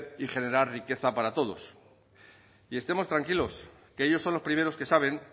y generar riqueza para todos y estemos tranquilos que ellos son los primeros que saben